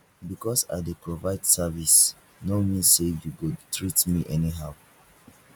because i dey provide service no mean sey you go treat me anyhow